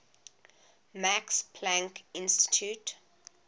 max planck institute